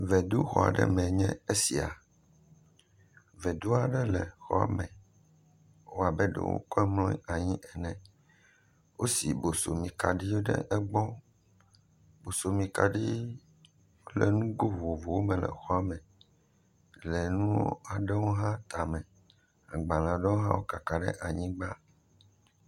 Veduxɔ ɖe mee nye esia. Vedu aɖe le xɔ me wɔbe ɖe wokɔe blɔ anyi ne. wosi bosomikaɖiwo ɖe egbɔ. Bosomikaɖi le nugo vovovowo me le xɔa me lenuwo aɖewo hã tame. Agbalea ɖewo hã kaka ɖe anyigba.